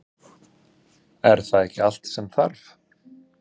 Er það ekki allt sem þarf?